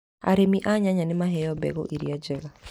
Arĩmi a nyanya nĩ maheo mbegũ iria njega.